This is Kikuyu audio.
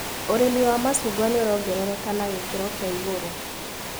ũrĩmĩ wa macungwa nĩũrongerereka na gĩkĩro kia igũrũ.